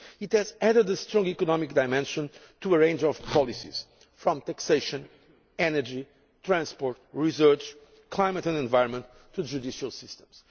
It has added a strong economic dimension to a range of policies from taxation, energy, transport, research, climate and environment, to judicial systems.